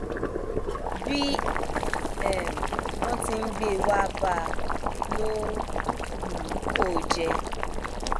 bí um wọn ti ń gbé e wàá bá a ló um ń kó o jẹ